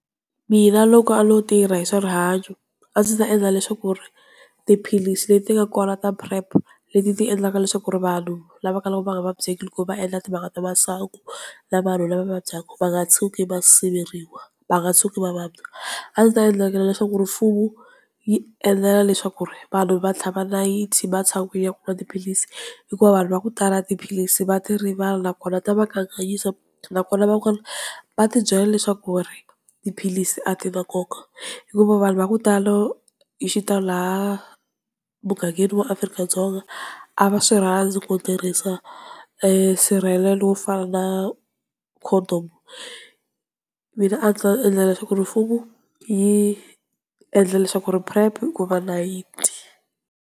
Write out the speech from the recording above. Mina loko a no tirha hi swa rihanyo a ndzi ta endla leswaku ri tiphilisi leti ka kwala ka PrEP leti ti endlaka leswaku ri vanhu lavaka va nga vabyiki loko va endla timhaka ta masangu na vanhu lava vabyaka va nga tshuki va siveriwa va nga tshuki va vabya a ndzi ta endlaka leswaku rifuwo yi endlela leswaku vanhu va tlhava nayiti va tshika ku nwa tiphilisi hikuva vanhu va ku tala tiphilisi va ti rivala nakona ta va ka kanganyisa nakona va kona va tibyela leswaku ri tiphilisi a ti na nkoka hikuva vanhu va ku tala yi xi ta laha mughangheni wa Afrika-Dzonga a va swi rhandzi ku tirhisa nsirhelelo wo fana na condom mina a ndzita endla leswaku mfumo yi endla leswaku PrEP ku va nayiti.